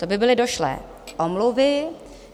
To by byly došlé omluvy.